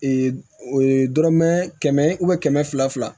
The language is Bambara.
dɔrɔmɛ kɛmɛ kɛmɛ fila fila